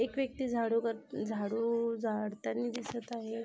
एक व्यक्ति झाडू कर झाडू आ झाडतानी दिसत आहे.